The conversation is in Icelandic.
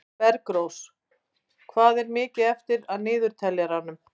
Bergrós, hvað er mikið eftir af niðurteljaranum?